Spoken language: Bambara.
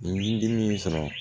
N dimi y'i sɔrɔ